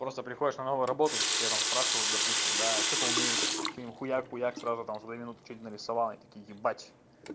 просто приходишь на новую работу тебя там спрашивают допустим да что-то умеешь ты хуяк хуяк сразу там за две минуты нарисовал они такие такие ебать